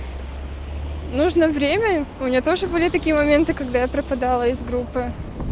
нужно время у меня тоже были такие моменты когда я пропадала из группы